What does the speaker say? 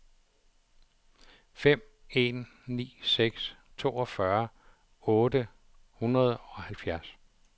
fem en ni seks toogfyrre otte hundrede og halvfjerds